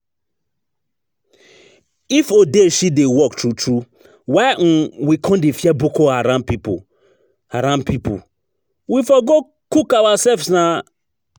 If odeshi dey work true true, why um we come dey fear Boko Haram people? Haram people? We for go cook ourselves nah